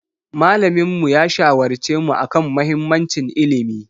Malaminmu ya shawarce mu a kan mahimmancin ilimi.